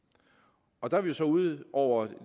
og der er vi jo så ude over